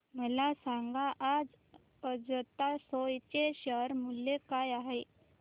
मला सांगा आज अजंता सोया चे शेअर मूल्य काय आहे